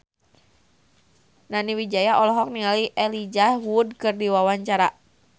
Nani Wijaya olohok ningali Elijah Wood keur diwawancara